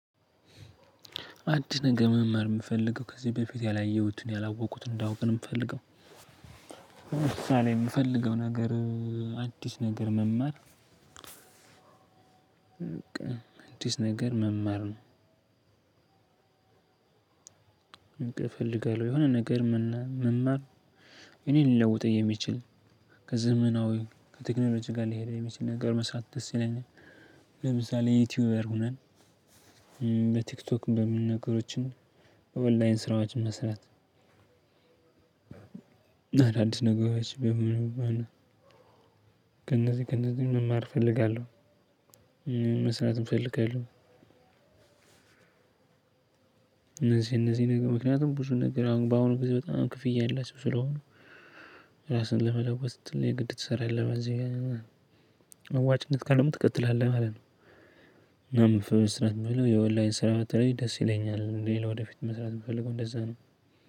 አዲስ ነገር መማር ነው የምፈልገው ከዚህ በፊት ያላየሁትን ያላወቁትን እንዳውቅ ነው የምፈልገው። ምሳሌ የምፈልገው ነገር። አዲስ ነገር መማር። አዲስ ነገር መማር ነው። በቃ እፈልጋለሁ የሆነ ነገር መማር እኔ ሊለውጠኝ የሚችል ከዘመናዊ ከቴክኖሎጂ ጋር ልሄድ የሚችል ነገር መስራት ደስ ይለኛል። ለምሳሌ ዩቲዩበር ሆነን በቲክቶክ በምን ነገሮችን ኦንላይን ስራዎችን መስራት። አዳዲስ ነገሮች በመኖር ማለት ነው። ከነዚህ ከነዚህ መማር እፈልጋለሁ። መስራትም እፈልጋለሁ። እነዚህ እነዚህ ነገር ምክንያቱም ብዙ ነገር አሁን በአሁኑ ጊዜ በጣም ክፍያ የለም ስለሆነ። ራስን ለመለወጥ ስትል የግድ ትሰራለህ የለም እዚህ አዋጭነት ካለም ትቀጥላለህ ማለት ነው። እና መስራት የለውም የኦንላይን ስራው በተለይ ደስ ይለኛል ሌላ ወደፊት መስራት የምፈልገው እንደዛ ነው።